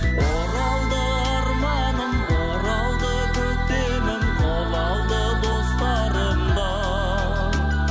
оралды арманым оралды көктемім қол алды достарым да